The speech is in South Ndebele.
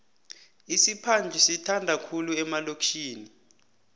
isiphadhlu sithandwa khulu emalokitjhini